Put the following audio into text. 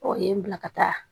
Ɔ ye n bila ka taa